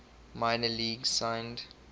minor leagues signed